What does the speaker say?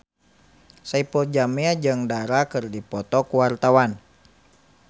Saipul Jamil jeung Dara keur dipoto ku wartawan